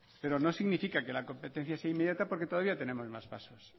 pero no significa que la competencia sea inmediata porque todavía tenemos más pasos